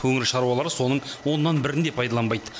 өңір шаруалары соның оннан бірін де пайдаланбайды